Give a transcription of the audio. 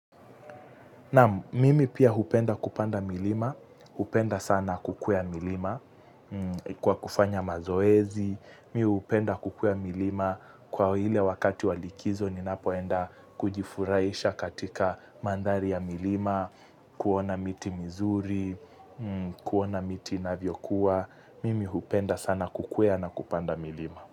Naam mimi pia hupenda kupanda milima, hupenda sana kukwea milima kwa kufanya mazoezi, mi hupenda kukwea milima kwa hile wakati wa likizo ninapoenda kujifurahisha katika mandhari ya milima, kuona miti mizuri, kuona miti inavyokuwa, mimi hupenda sana kukwea na kupanda milima.